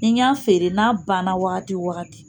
I y'a feere n'a banna wagati o wagati